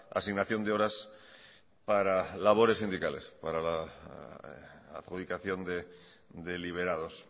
asignación de horas para labores sindicales para la adjudicación de liberados